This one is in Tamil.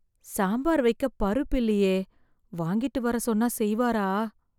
சாம்பார் வெக்க பருப்பு இல்லயே, வாங்கிட்டு வர சொன்னா செய்வாரா?